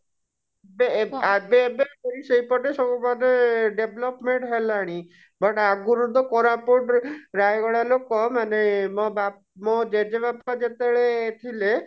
ବେ ଏବେ ଏବେ ସେଇପଟେ ସବୁ ମାନେ development ହେଲାଣି but ଆଗରୁ ତ କୋରାପୁଟ ରେ ରାୟଗଡା ଲୋକ ମାନେ ମୋ ବା ମୋ ଜେଜେବାପା ଯେତେବେଳେ ଥିଲେ